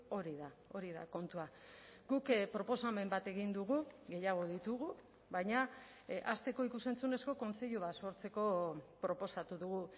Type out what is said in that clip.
hori da hori da kontua guk proposamen bat egin dugu gehiago ditugu baina hasteko ikus entzunezko kontseilu bat sortzeko proposatu dugu